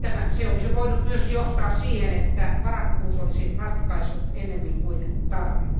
Se olisi voinut myös johtaa siihen, että varakkuus olisi ratkaissut ennemmin kuin tarve.